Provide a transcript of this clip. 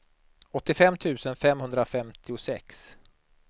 åttiofem tusen femhundrafemtiosex